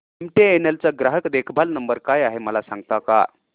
MTNL चा ग्राहक देखभाल नंबर काय आहे मला सांगता का